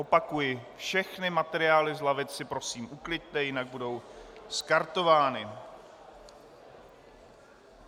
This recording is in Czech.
Opakuji, všechny materiály z lavic si prosím ukliďte, jinak budou skartovány.